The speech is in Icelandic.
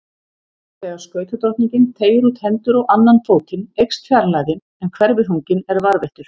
Þegar skautadrottningin teygir út hendur og annan fótinn eykst fjarlægðin en hverfiþunginn er varðveittur.